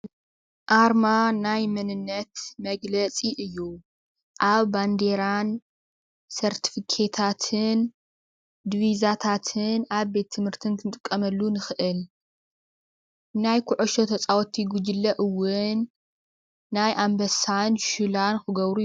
ኣርማ ናይ መንነት መግለፂ እዩ፡፡ ኣብ ባንዴራን ፣ ሰርተፊኬታትን፣ ዲቪዛታትን፣ ኣብ ቤት ትምህርትን ክንጥቀመሉ ንክእል፡፡ ናይ ኩዕሾ ተፃወቲ ጉጅለ እውን ናይ ኣንበሳን ሽላን ክገብሩ ይ፡፡